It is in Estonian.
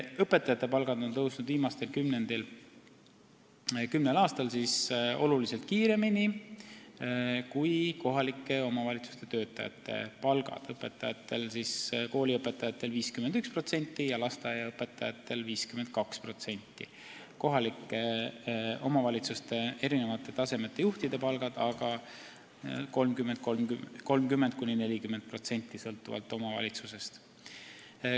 Õpetajate palgad on viimasel kümnel aastal tõusnud oluliselt kiiremini kui kohalike omavalitsuste töötajate palgad – kooliõpetajatel 51% ja lasteaiaõpetajatel 52%, kohalike omavalitsuste eri taseme juhtidel sõltuvalt omavalitsusest aga 30–40%.